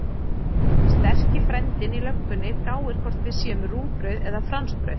Sterki frændinn í löggunni gáir hvort við séum rúgbrauð eða fransbrauð.